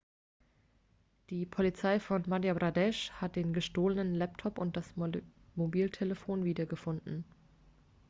die polizei von madhya pradesh hat den gestohlenen laptop und das mobiltelefon wiedergefunden